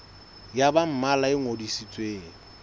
ya ba mmalwa e ngodisitsweng